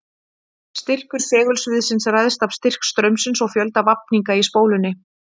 Styrkur segulsviðsins ræðst af styrk straumsins og fjölda vafninga í spólunni.